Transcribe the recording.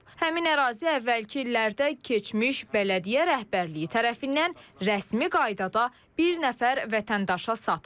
Həmin ərazi əvvəlki illərdə keçmiş bələdiyyə rəhbərliyi tərəfindən rəsmi qaydada bir nəfər vətəndaşa satılıb.